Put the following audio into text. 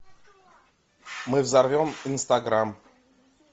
мы взорвем инстаграм